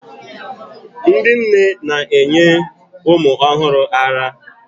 ndị nne na-enye ụmụ ọhụrụ ara